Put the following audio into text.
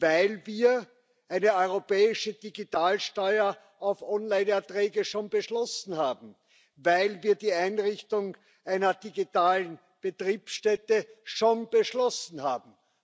weil wir eine europäische Digitalsteuer auf Online Erträge schon beschlossen haben, weil wir die Einrichtung einer digitalen Betriebsstätte schon beschlossen haben.